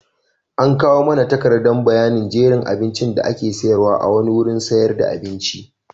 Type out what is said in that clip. An kawo mana takardar bayanin jerin abincin da ake sayarwa a wani wurin sayar da abinci.